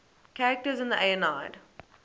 characters in the aeneid